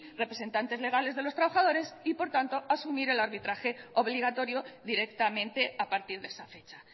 representantes legales de los trabajadores y por tanto asumir el arbitraje obligatorio directamente a partir de esa fecha